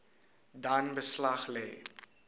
dan beslag lê